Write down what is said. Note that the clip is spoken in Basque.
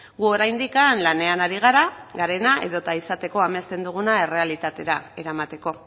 gu oraindik lanean ari gara garena edota izateko amesten duguna errealitatera eramateko